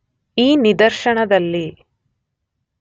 ಈ ನಿದರ್ಶನದಲ್ಲಿ